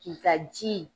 K'i ka ji